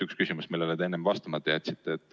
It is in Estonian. Üks küsimus on see, millele te enne vastamata jätsite.